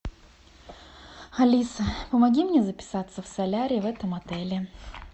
алиса помоги мне записаться в солярий в этом отеле